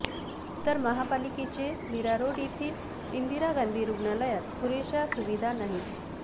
तर महापालिकेचे मीरा रोड येथील इंदिरा गांधी रुग्णालयात पुरेशा सुविधा नाहीत